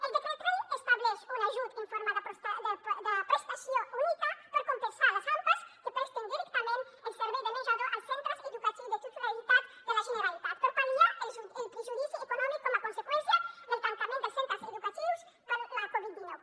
el decret llei estableix un ajut en forma de prestació única per compensar les ampas que presten directament el servei de menjador als centres educatius de titularitat de la generalitat per pal·liar el perjudici econòmic com a conseqüència del tancament dels centres educatius per la covid dinou